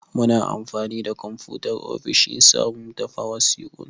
Muna anfani da konfutar ofishin sa mu tafa wasiƙun.